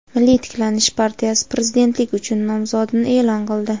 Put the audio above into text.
"Milliy tiklanish" partiyasi Prezidentlik uchun nomzodini e’lon qildi.